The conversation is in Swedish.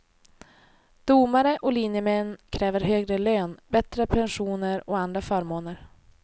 Domare och linjemän kräver högre lön, bättre pensioner och andra förmåner.